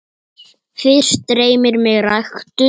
Fyrst dreymir mig ræktun.